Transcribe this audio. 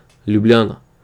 Ljubljana.